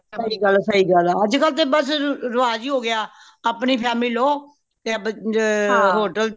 ਸਹੀ ਗੱਲ ਹੈ ਸਹੀ ਗੱਲ ਹੈ ਅੱਜ ਕਲ ਤੇ ਬਸ ਰਿਵਾਜ਼ ਹੀ ਹੋ ਗਯਾ ਆਪਣੀ family ਲੋ ਤੇ hotel